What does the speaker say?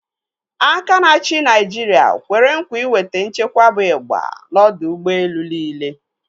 Aka na-achi Naijiri kwere nkwa iweta nchekwa bụ ịgba n'ọdọ ụgbọelu niile.